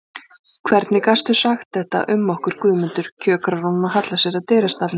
Hvernig gastu sagt þetta um okkur Guðmundur, kjökrar hún og hallar sér að dyrastafnum.